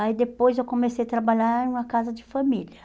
Aí depois eu comecei a trabalhar em uma casa de família.